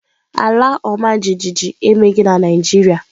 Ala ọmajiji emeghị na ala ọmajiji emeghị na Naịjirịa.